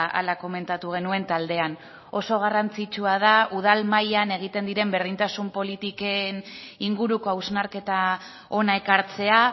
hala komentatu genuen taldean oso garrantzitsua da udal mailan egiten diren berdintasun politiken inguruko hausnarketa hona ekartzea